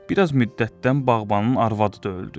Bir az müddətdən bağbanın arvadı da öldü.